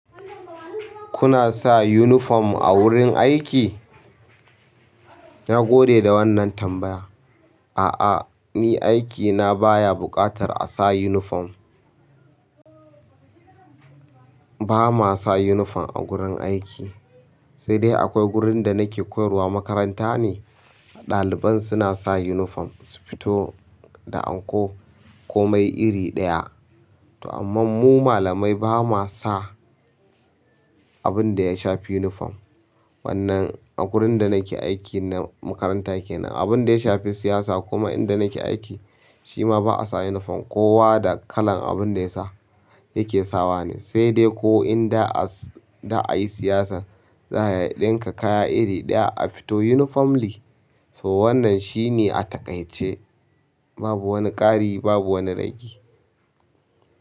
Kuna sa uniform a wurin aiki? Na gode da wannan tambaya. A'a, ni aikina baya buƙatar a sa uniform. Ba ma sa uniform a gurin aiki, sai dai akwai gurin da nake koyarwa makaranta ne, ɗaliban suna sa uniform su fito da anko komai iri ɗaya. To amma mu malamai ba ma sa abin da ya shafi uniform. Wannan a gurin da nake aiki na makaranta kenan, abin da ya shafi siyasa kuma inda nake aiki, shi ma ba a sa uniform, kowa da kalan abin da ya ke sawa ne. Sai dai ko inda a yi siyasa za a ɗinka kaya iri ɗaya a fito uniformly. To wannan shine a takaice. Babu wani ƙari babu wani ragi.